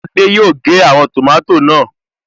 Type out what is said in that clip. Adé yòó gé àwọn tòmátò náà